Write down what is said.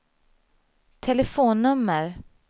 telefonnummer